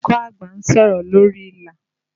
Olùkọ́ àgbà ń sọ̀rọ̀ lórí ìlà